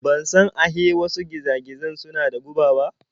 Ban san ahe wasu giza-gizan suna da guba ba.